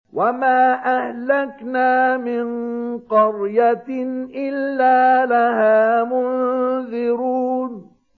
وَمَا أَهْلَكْنَا مِن قَرْيَةٍ إِلَّا لَهَا مُنذِرُونَ